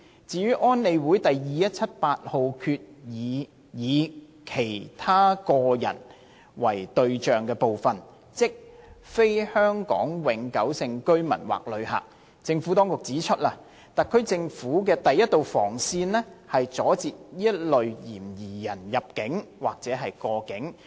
至於安理會第2178號決議以"其他個人"為對象的部分，即非香港永久性居民或旅客，政府當局指出，特區政府的第一道防線是阻截此類嫌疑人入境或過境。